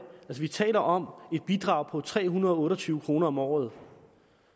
vi taler om et bidrag på tre hundrede og otte og tyve kroner om året